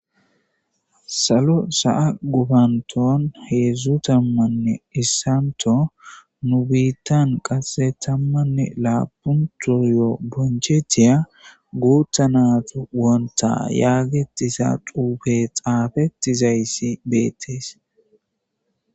Salo sa7a gubanton heedzdzu tammanne issanto nu biittan qasse tammanne laapunto yoo bonchethiya guutta nat wonta yaagetisa xuufe xaafetizayssi beettees